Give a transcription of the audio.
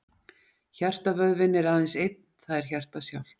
Hjartavöðvinn er aðeins einn, það er hjartað sjálft.